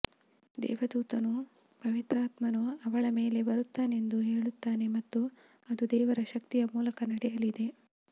ದೇವದೂತನು ಪವಿತ್ರಾತ್ಮನು ಅವಳ ಮೇಲೆ ಬರುತ್ತಾನೆಂದು ಹೇಳುತ್ತಾನೆ ಮತ್ತು ಅದು ದೇವರ ಶಕ್ತಿಯ ಮೂಲಕ ನಡೆಯಲಿದೆ